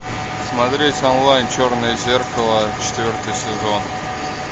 смотреть онлайн черное зеркало четвертый сезон